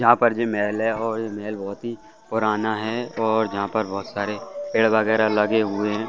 यहाँ पर जय महल है और महल बहुत ही पुराना है और यहाँ पर बहुत सारे पेड़ वगैरा लगे हुए हैं।